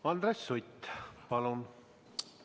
Andres Sutt, palun!